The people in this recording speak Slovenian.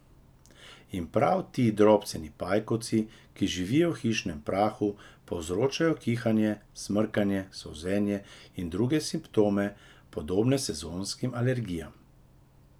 In prav ti drobceni pajkovci, ki živijo v hišnem prahu, povzročajo kihanje, smrkanje, solzenje in druge simptome, podobne sezonskim alergijam.